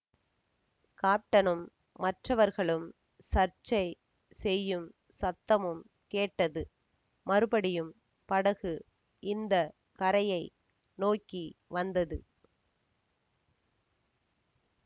காப்டனும் மற்றவர்களும் சர்ச்சை செய்யும் சத்தமும் கேட்டது மறுபடியும் படகு இந்த கரையை நோக்கி வந்தது